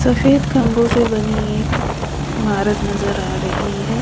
सफेद खंभों से बनी एक इमारत नजर आ रही है।